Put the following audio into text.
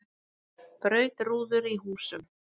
Braut rúður í húsum